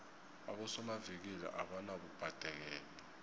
abosomavikili abanabubhadekelo